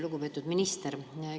Lugupeetud minister!